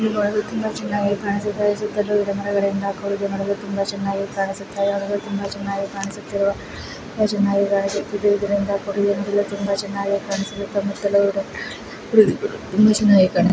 ಇದು ಬಂದು ತುಂಬ ಚೆನ್ನಾಗಿ ಕಾಣಿಸ್ತಾ ಇದೆ ಈ ಚಿತ್ರದಲ್ಲಿ ಬಂದು ಮರಗಲ್ಲಿಂದ ಕೂಡಿದೆ ಮರಗಳು ತುಂಬ ಚೆನ್ನಾಗಿ ಕಾಣಿಸುತ್ತಿರುವ ತುಂಬ ಚೆನ್ನಾಗಿ ಕಾಣಿಸುತ್ತಿರುವ ಇದರಿಂದ ಕೂಡಿದೆ ನೋಡಲು ತುಂಬ ಚೆನ್ನಾಗಿ ಕಾಣಿಸುತಿದ್ದೆ ಸುತ್ತ ಮುತ್ತಲು ತುಂಬ ಚೆನ್ನಾಗಿದೆ.